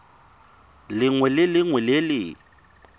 lengwe le lengwe le le